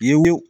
Ye